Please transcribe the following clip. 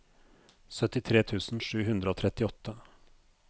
syttitre tusen sju hundre og trettiåtte